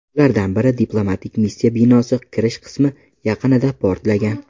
Ulardan biri diplomatik missiya binosi kirish qismi yaqinida portlagan.